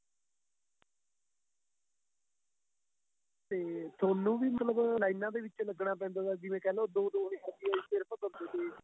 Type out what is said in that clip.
ਤੇ ਤੁਹਾਨੂੰ ਵੀ ਮਤਲਬ ਲਾਈਨਾਂ ਦੇ ਵਿੱਚ ਲੱਗਣਾ ਪੈਂਦਾ ਤਾਂ ਜਿਵੇਂ ਕਹਿਲੋ ਦੋ ਦੋ ਹਜ਼ਾਰ ਰੁਪਏ ਸਿਰਫ਼ ਦਿੰਦੇ ਤੇ